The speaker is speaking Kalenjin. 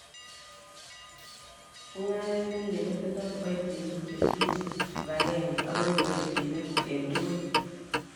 Mungaret ne mie kotindoi kiboitinik che tinyei kipagenge akoibu keljinet eng tugul